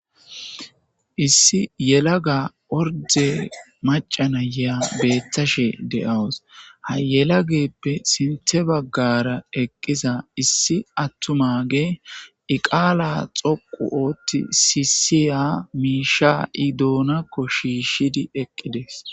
issi yelaga orde macanayaa bettashe de7awus ha yelageppe sinthe baggara eqqiza issi attumage iqaala xoqu ootti siisiya miisha i doonakko shiishshidi eqqides